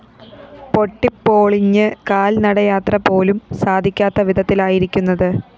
പൊട്ടിപോളിഞ്ഞ് കാല്‍ നടയാത്ര പോലും സാധിക്കാത്ത വിധത്തിലായിരിക്കുന്നത്